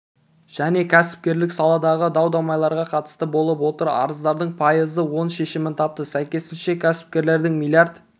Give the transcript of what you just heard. және кәсіпкерлік саладағы дау-дамайларға қатысты болып отыр арыздардың пайызы оң шешімін тапты сәйкесінше кәсіпкерлердің млрд